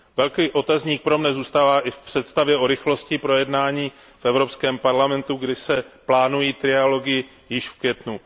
Velký otazník pro mne zůstává i v představě o rychlosti projednání v Evropském parlamentu, kdy se plánují trialogy již v květnu.